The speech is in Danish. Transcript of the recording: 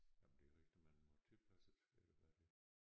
Jamen det er rigtigt man må tilpasse det øh hvad det